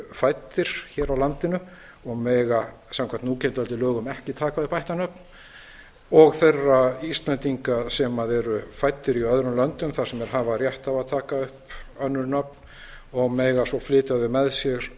eru fæddir hér á landi og mega samkvæmt núgildandi lögum ekki taka upp ættarnöfn og þeirra íslendinga sem eru fæddir í öðrum löndum þar sem þeir hafa rétt á að taka upp önnur nöfn og mega svo flytja þau með sér